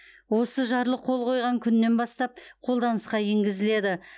осы жарлық қол қойылған күннен бастап қолданысқа енгізіледі